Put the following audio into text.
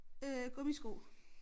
Øh gummisko